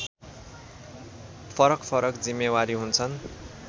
फरकफरक जिम्मेवारी हुन्छन्